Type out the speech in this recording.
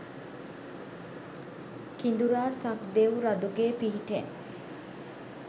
කිඳුරා සක් දෙවි රඳුගේ පිහිටෙන්